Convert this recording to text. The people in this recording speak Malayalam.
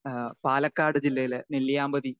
സ്പീക്കർ 2 അഹ് പാലക്കാട് ജില്ലയിലെ നെല്ലിയാമ്പതി.